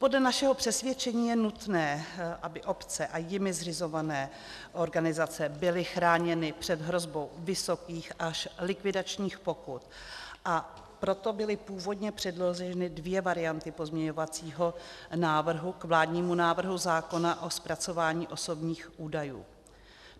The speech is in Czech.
Podle našeho přesvědčení je nutné, aby obce a jimi zřizované organizace byly chráněny před hrozbou vysokých až likvidačních pokut, a proto byly původně předloženy dvě varianty pozměňovacího návrhu k vládnímu návrhu zákona o zpracování osobních údajů.